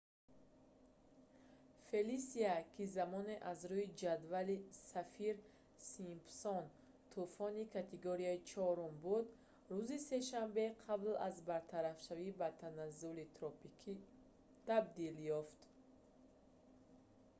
фелисия ки замоне аз рӯи ҷадвали саффир-симпсон тӯфони категорияи 4-уми буд рӯзи сешанбе қабл аз бартарафшавӣ ба таназзули тропикӣ табдил ёфт